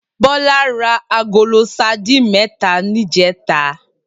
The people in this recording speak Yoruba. Bola rá àgóló sàdín mètá nijètá